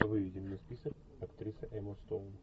выведи мне список актриса эмма стоун